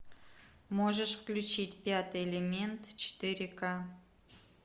можешь включить пятый элемент четыре ка